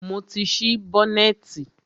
Mo ti ṣí bọ́nẹ̀tì.